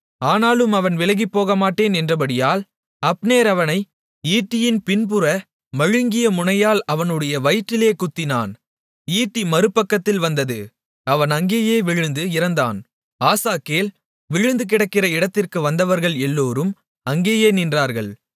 ஆனாலும் அவன் விலகிப்போகமாட்டேன் என்றபடியால் அப்னேர் அவனை ஈட்டியின் பின்புற மழுங்கிய முனையால் அவனுடைய வயிற்றிலே குத்தினான் ஈட்டி மறுபக்கத்தில் வந்தது அவன் அங்கேயே விழுந்து இறந்தான் ஆசகேல் விழுந்துகிடக்கிற இடத்திற்கு வந்தவர்கள் எல்லோரும் அங்கேயே நின்றார்கள்